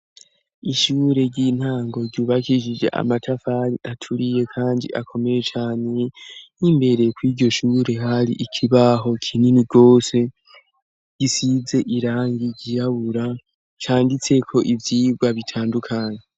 ishure ry'intango ryubakisije amatafani aturiye kandi akomeye cane y'imbere kw' iryoshure hari ikibaho kinini gose gisize irangi ryirabura canditse ko ivyigwa bitandukanye